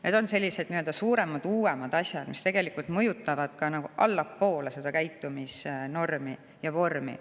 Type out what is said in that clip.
Need on sellised nii-öelda suuremad, uuemad asjad, mis mõjutavad tegelikult ka nagu allapoole seda käitumisnormi ja ‑vormi.